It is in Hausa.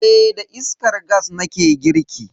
Eh da iskar gas nake girki.